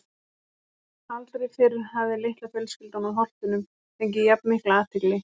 Aldrei fyrr hafði litla fjölskyldan úr Holtunum fengið jafn mikla athygli.